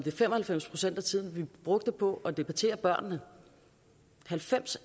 fem og halvfems procent af tiden vi brugte på at debattere børnene halvfems